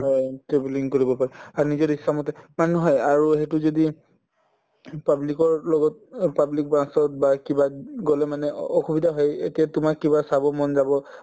হয়, travelling কৰিব পাৰো আৰু নিজৰ ইচ্ছামতে মানে নহয় আৰু সেইটো যদি public ৰ লগত অ public bus ত বা কিবাত উম গলে মানে অ‍‍‍‍‍‍‍‍ অসুবিধা হয় এতিয়া তোমাৰ কিবা চাব মন যাব